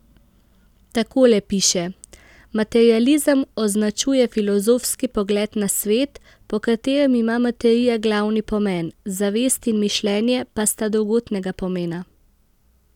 Takole piše: 'Materializem označuje filozofski pogled na svet, po katerem ima materija glavni pomen, zavest in mišljenje pa sta drugotnega pomena.